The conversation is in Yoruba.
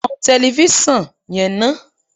Tan tẹlefísàn yẹn ná